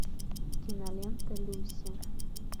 кинолента люси